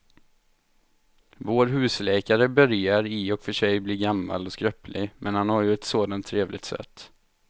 Vår husläkare börjar i och för sig bli gammal och skröplig, men han har ju ett sådant trevligt sätt!